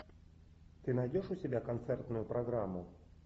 ты найдешь у себя концертную программу